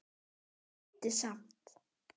Reyndi samt.